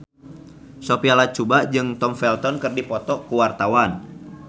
Sophia Latjuba jeung Tom Felton keur dipoto ku wartawan